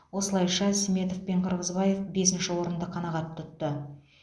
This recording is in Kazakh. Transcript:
осылайша сметов пен қырғызбаев бесінші орынды қанағат тұтты